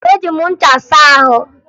Eji m ncha saa ahụ